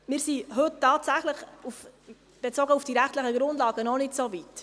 Wir sind heute tatsächlich, bezogen auf die rechtlichen Grundlagen, noch nicht so weit.